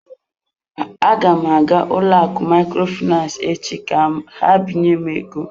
Aga m aga ụlọakụ Microfinance echi ka ha binye m ego.